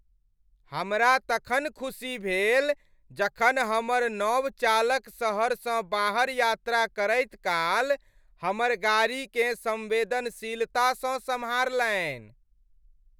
हमरा तखन खुशी भेल जखन हमर नव चालक शहरसँ बाहर यात्रा करैत काल हमर गाड़ीकेँ संवेदनशीलतासँ सम्हारलनि।